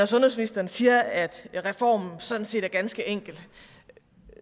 sundhedsministeren siger at reformen sådan set er ganske enkel